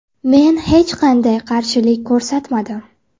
Men hech qanday qarshilik ko‘rsatmadim.